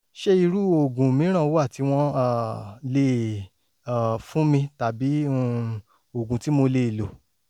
ṣé irú oògùn mìíràn wà tí wọ́n um lè um fún mi tàbí um oògùn tí mo lè lò?